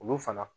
Olu fana